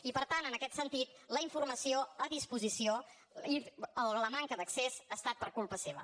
i per tant en aquest sentit la informació a disposició i la manca d’accés ha estat per culpa seva